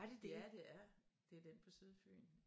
Ja det er det er den på Sydfyn